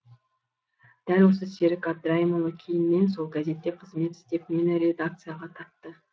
дәл осы серік әбдірайымұлы кейіннен сол газетте қызмет істеп мені редакцияға тартты